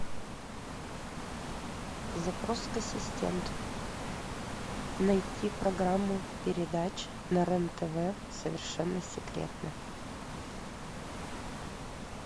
запрос к ассистенту найти программу передач на рен тв совершенно секретно